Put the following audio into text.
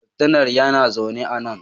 Laftanar yana zaune a nan